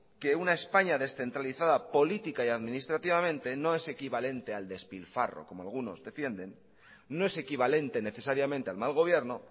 que una españa descentralizada política y administrativamente no es equivalente al despilfarro como algunos defienden no es equivalente necesariamente al mal gobierno